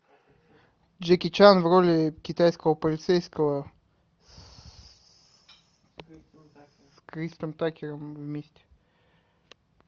джеки чан в роли китайского полицейского с крисом такером вместе